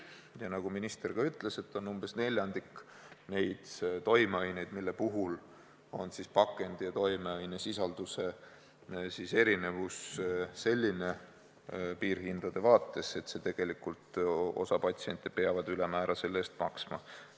Ja nagu minister ka ütles, umbes neljandik on neid toimeaineid, mille puhul on pakendi ja toimeainesisalduse erinevus selline, piirhindade vaates, et tegelikult peab osa patsiente selle eest ülemäära maksma.